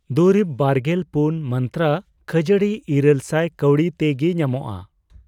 ᱫᱩᱨᱤᱵ ᱵᱟᱨᱜᱮᱞ ᱯᱩᱱ ᱢᱟᱱᱛᱨᱟ ᱠᱷᱟᱹᱡᱟᱹᱲᱤ ᱤᱨᱟᱹᱞ ᱥᱟᱭ ᱠᱟᱹᱣᱰᱤ ᱛᱮ ᱜᱤ ᱧᱟᱢᱚᱜᱼᱟ ?